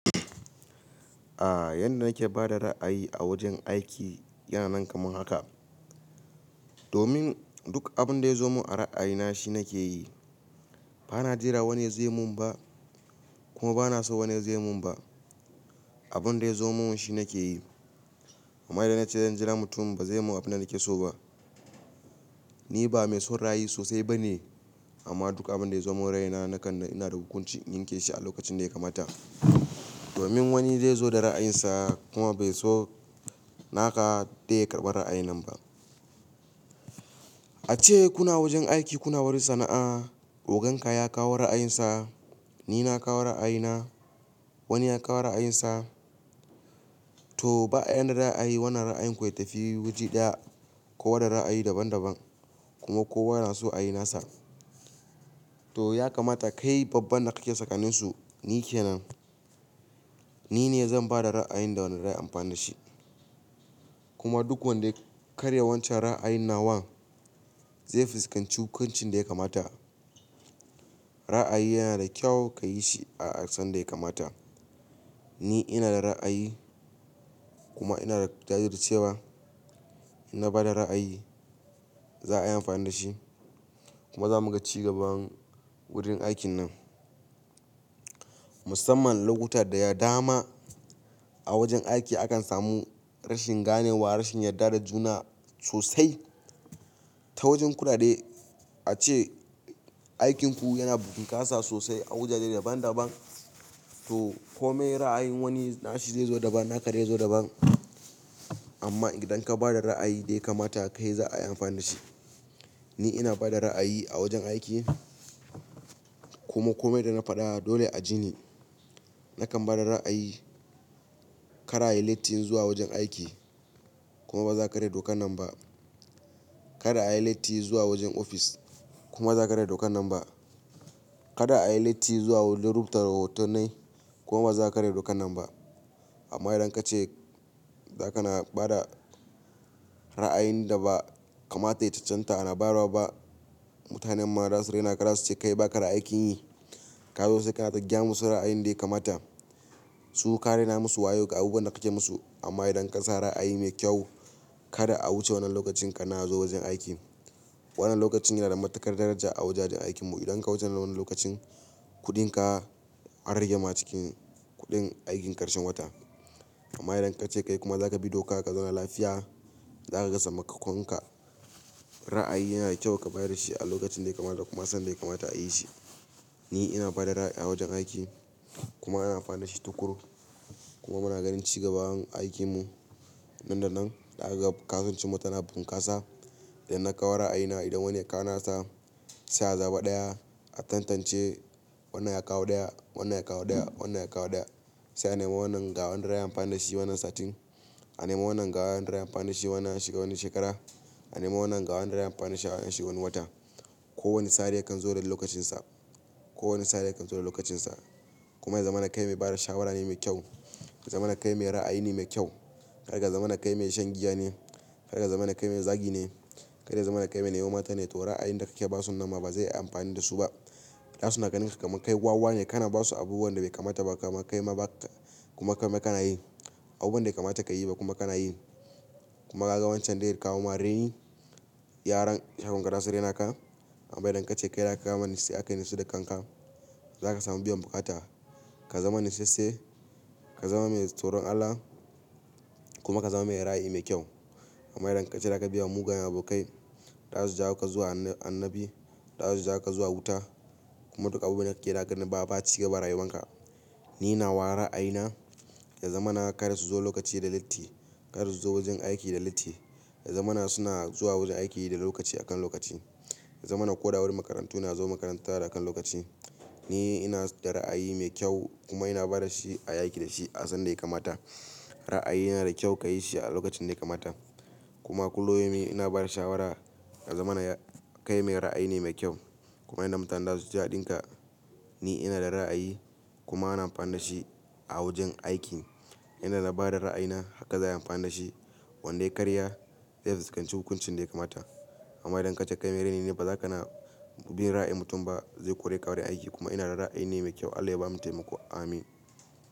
A yanda nake bada ra'ayi a wajen aiki yana nan kamar haka. Domin duk abun da ya zo mun a ra'ayina shi nake yi. Bana jira wane zai mun ba kuma bana so wane zai mun ba. Abun da ya zo mun shi nake yi. Amma idan na ce zan jira mutum ba zai mun abin da nake so ba. Ni ba mai son ra'ayi sosai ba ne amma duka abun da ya zo mun raina nakan na ina da hukunci in yinke shi a lokacin da ya kamata. Domin wani zai zo da ra'ayinsa kuma bai so naka tayi karɓar ra'ayin nan ba. A ce kuna wajen aiki kuna wani sana'a, oganka ya kawo ra'ayinsa, ni na kawo ra'ayina, wani ya kawo ra'ayinsa. To ba'a yana ra'ayi wannan ra'ayin ku ya tafi waje ɗaya kowa da ra'ayi daban daban kuma kowa yana so a yi nasa. To ya kamata kai babban da kake tsakanninsu ni ke nan. Ni ne zan bada ra'ayin da wanda zai amfana shi. Kuma duk wanda ya karya wancan ra'ayin nawa zai fuskanci hukuncin da ya kamata. Ra'ayi yana da kyau ka yi shi a asan da ya kamata. Ni ina da ra'ayi kuma ina da jajircewa na bada ra'ayi za a yi amfani da shi kuma za muga cigaban wurin aikin nan. Musamman lokuta da ya dama a wajen aiki akan samu rashin gane wa, rashin yarda da juna sosai. Ta wajen kuɗaɗe ace aikinku yana bunkasa sosai a wajaje daban daban. To kome ra'ayin wani nashi zai zo daban, naka zai zo daban. Amma idan ka bada ra'ayi dai kamata kai za a yi amfani da shi. Ni ina bada ra'ayi a wajen aiki kuma kome da na faɗa dole a ji ni. Nakan bada ra'ayi kada a yi latti zuwa wajen aiki kuma ba za ka karya doka nan ba. Kada a yi latti zuwa wajen ofis kuma ba za ka karya doka nan ba. Kada a yi latti zuwa wurin rubuta tahotannai kuma ba za ka karya doka nan ba. Amma idan kace zakana bada ra'ayin da ba kamata ya cancanta a nabarwa ba, mutanen ma zasu raina ka zasu ce kai baka da aikin yi. Ka zo sai kana ta gyamu su ra'ayin da ya kamata. Su ka rena masu wayo ga abubuwan da kake musu amma idan kasa ra'ayi me kyau kada a wuce wannan lokacin kana zuwa wajen aiki. Wannan lokacin yana da matuƙar daraja a wajajen aikin mu. Idan ka wuce wannan lokacin kuɗin ka an rage ma cikin kuɗin aikin karshen wata. Amma idan kace kai kuma zaka bi doka, ka zauna lafiya, za kaga sakamakon ka. Ra'ayi yana da kyau ka bada shi a lokacin da ya kamata kuma sanda ya kamata a yi shi. Ni ina bada ra'ayi a wajen aiki kuma ana amfani da shi tukuru. Kuma muna ganin cigaban aikin mu. Nan da nan da aka gab kasance mutane bunkasa idan na kawo ra'ayina idan wani ya kawo nasa sai a zaɓi ɗaya a tantance. Wannan ya kawo ɗaya, wannan ya kawo ɗaya, wannan ya kawo ɗaya. Sai a nema wannan gawanda ra'ayin amfani da shi wannan satin. A nema wannan gawanda ra'ayin da amfani da shi wannan shekarar. A nema wannan gawanda ra'ayin amfani da shi wannan watan. Ko wani sare yakan zo da lokacin sa. Ko wani sare yakan zo da lokacin sa. Kuma ya zama na kai mai bada shawara ne mai kyau. Ya zama na kai mai ra'ayi ne mai kyau. Karya zamana kai mai shan giya ne. Har ga zama na kai mai zagi ne. Kai dai zama na kai mai nemo mata ne to ra'ayin da kake basu nan ma ba zai yi amfani da su ba. Da suna ganin ka kamar kai wawa ne kana basu abubuwan da bai kamata ba kamar kai ma ba kuma kamar kana yi. Abun da ya kamata ka yi ba kuma kana yi. Kuma ka ga wancan da yake kawo ma raini yaran shagon ka da su rena ka. Amma idan kace kai da aka yi nasu da kan ka, za ka samu biyan bukata. Ka zama natsattse, ka zama mai tsoron Allah kuma ka zama mai ra'ayi mai kyau. Amma idan kace da ka biya mugayen abokai da za su ja ka zuwa annabi, da za su ja ka zuwa wuta kuma duka abun da kake dagani ba ba cigaba rayuwan ka. Ni na ware ra'ayi na, ya zama na kada su zo lokaci da latti. Kada su zo wajen aiki da latti. Ya zama na suna zuwa wajen aiki da lokaci a kan lokaci. Ya zama na ko da wani makarantu na zo makaranta da akan lokaci. Ni ina da ra'ayi mai kyau kuma ina bada shi a yaki da shi a san da ya kamata. Ra'ayi yana da kyau ka yi shi a lokacin da ya kamata. Kuma kullum ina bada shawara ya zama na kai mai ra'ayi ne mai kyau kuma idan mutane za su ja ɗin ka ni ina da ra'ayi kuma ana amfani da shi a wajen aiki. Yanda nabada ra'ayi na haka za a yi amfani da shi. Wanda ya karya zai fuskanci hukuncin da ya kamata. Amma idan kace kai mai raini ne ba za kana bin ra'ayin mutum ba zai kore ka wurin aiki kuma ina da ra'ayi ne mai kyau. Allah ya bamu taimako. Amin.